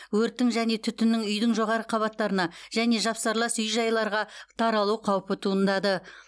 өрттің және түтіннің үйдің жоғары қабаттарына және жапсарлас үй жайларға таралу қаупі туындады